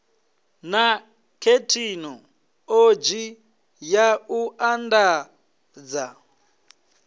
na thekhinoḽodzhi ya u andadza